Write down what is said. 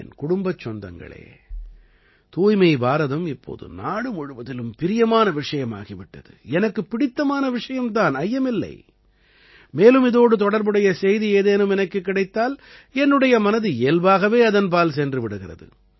என் குடும்பச் சொந்தங்களே தூய்மை பாரதம் இப்போது நாடு முழுவதிலும் பிரியமான விஷயமாகி விட்டது எனக்குப் பிடித்தமான விஷயம் தான் ஐயமில்லை மேலும் இதோடு தொடர்புடைய செய்தி ஏதேனும் எனக்குக் கிடைத்தால் என்னுடைய மனது இயல்பாகவே அதன்பால் சென்று விடுகிறது